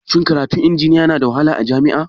Shin karatun injiniya Yana da wahala a jami'a?